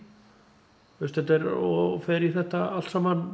og fer í þetta allt saman